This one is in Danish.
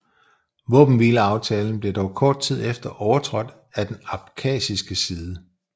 Våbenhvileaftalen blev dog kort tid efter overtrådt af den abkhasiske side